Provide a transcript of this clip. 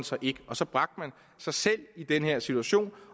så ikke og så bragte man sig selv i den her situation